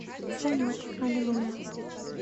салют аллилуйя